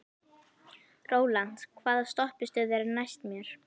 Rólant, hvaða stoppistöð er næst mér?